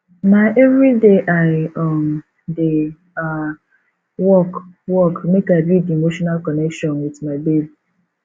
na everyday i um dey um work work make i build emotional connection wit my babe